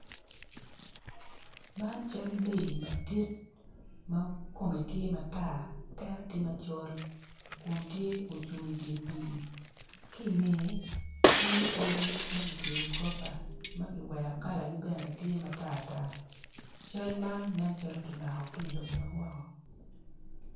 Man cal mego madi ma kome tye matar tere tye ma col kun tye ocung idyer pi ki inge tye odi macweyo goropa makiwero kalagi bene tye matar tar cal man nen calo kimako kilobo mawoko.